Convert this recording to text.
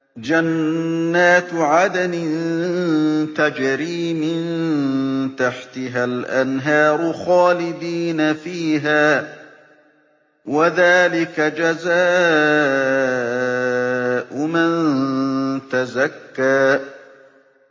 جَنَّاتُ عَدْنٍ تَجْرِي مِن تَحْتِهَا الْأَنْهَارُ خَالِدِينَ فِيهَا ۚ وَذَٰلِكَ جَزَاءُ مَن تَزَكَّىٰ